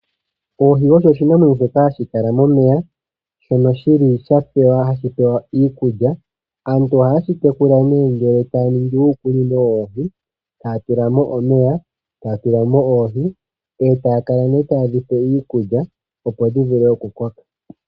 Oohi odho oshinamwenyo shoka hashi kala momeya shono shili hashi pewa iikulya. Aantu ohaye shi tekula nee ngele taya ningi uukunino woohi taya tula mo omeya, taya tula mo oohi etaya kala nee tayedhipe iikulya opo dhi vule okukoka.